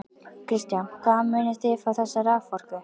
Kristján: Hvaðan munið þið fá þessa raforku?